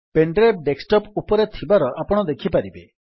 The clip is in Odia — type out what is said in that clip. ପେନ୍ ଡ୍ରାଇଭ୍ ଡେସ୍କଟପ୍ ଉପରେ ଥିବାର ଆପଣ ଦେଖିପାରିବେ